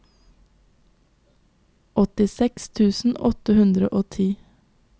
åttiseks tusen åtte hundre og ti